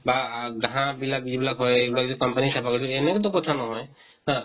বা আ ঘাঁহ বিলাক যিবিলাক হয়, সেইবিলাক যদি company য়ে চাফা কৰিছে, এনেকা তো কথা নহয় । তাত